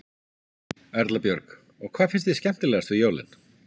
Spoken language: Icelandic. Erla Björg: Og hvað finnst þér skemmtilegast við jólin?